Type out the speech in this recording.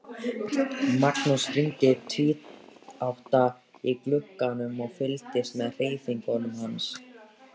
Magnús hímdi tvíátta í glugganum og fylgdist með hreyfingum hans.